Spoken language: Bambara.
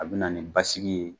A bɛ na ni basigi ye